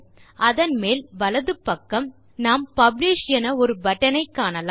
அதன் மேல் வலது பக்கம் நாம் பப்ளிஷ் என ஒரு பட்டன் ஐ காணலாம்